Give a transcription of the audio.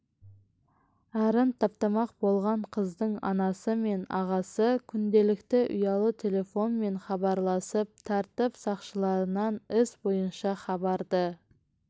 арын таптамақ болған қыздың анасы мен ағасы күнделікті ұялы телефонмен хабарласып тәртіп сақшыларынан іс бойынша хабарды